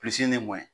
ye mun ye